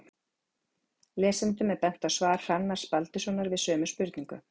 lesendum er bent á svar hrannars baldurssonar við sömu spurningu